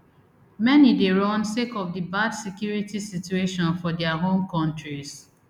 many dey run sake of di bad security situation for dia home kontris